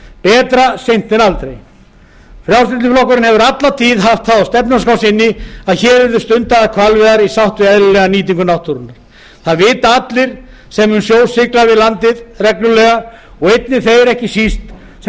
betra seint en aldrei frjálslyndi flokkurinn hefur alla tíð haft það á stefnuskrá sinni að hér yrðu stundaðar hvalveiðar í sátt við eðlilega nýtingu náttúrunnar það vita allir sem um sjó sigla við landið reglulega og einnig þeir ekki síst sem